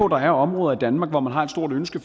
der er områder i danmark hvor man har et stort ønske